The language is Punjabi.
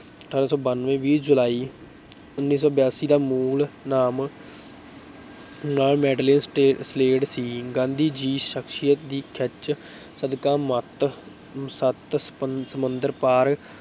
ਅਠਾਰਾਂ ਸੌ ਬਾਨਵੇਂ ਵੀਹ ਜੁਲਾਈ ਉੱਨੀ ਸੌ ਬਿਆਸੀ ਦਾ ਮੂਲ ਨਾਮ ਸੀ ਗਾਂਧੀ ਜੀ ਸਕਸੀਅਤ ਦੀ ਖਿੱਚ ਸਦਕਾ ਮੱਤ ਸੱਤ ਸਮ ਸਮੁੰਦਰ ਪਾਰ